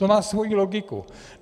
To má svoji logiku.